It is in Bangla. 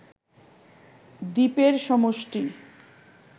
দ্বীপের সমষ্টি